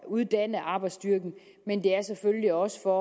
uddanne arbejdsstyrken men det er også for